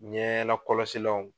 Ɲɛ lakɔlɔsilanw.